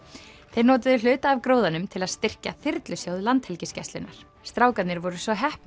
þeir notuðu hluta af gróðanum til að styrkja þyrlusjóð Landhelgisgæslunnar strákarnir voru svo heppnir